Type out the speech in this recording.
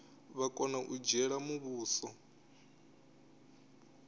vha kona u dzhiela muvhuso